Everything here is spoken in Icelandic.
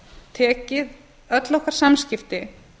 tekið öll okkar samskipti